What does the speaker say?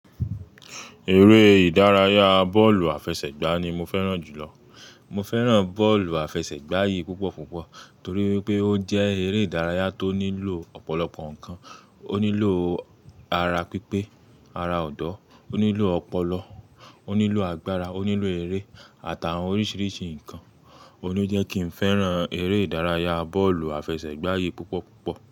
Eré ìdárayá bọ́ọ̀lù àfẹsẹ̀gbá ni mo fẹ́ràn jùlọ. Mo fẹ́ràn bọ́ọ̀lù àfẹsẹ̀gbá yìí púpọ̀ púpọ̀ torí wipé ó jẹ́ eré ìdárayá tó nílò ọ̀pọ̀lọpọ̀ nǹkan. Ó nílò ara pípé, ara ọ̀dọ́, ó nílò ọpọlọ, ó nílò agbára, ó nílò eré àtàwọn oríṣiríṣi nǹkan. Óun lo jẹ́ kí n fẹ́ràn eré ìdárayá bọ́ọ̀lù àfẹsẹ̀gbá yìí púpọ̀ púpọ̀.